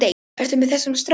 Ertu með þessum strák?